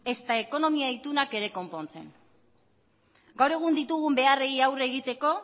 ezta ekonomia itunak ere konpontzen gaur egun ditugun beharrei aurre egiteko